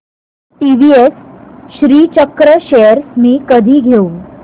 TVS Srichakra shares मी कधी घेऊ